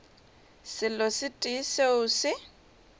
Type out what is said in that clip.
selo se tee seo se